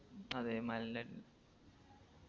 അതെ മലൻറെ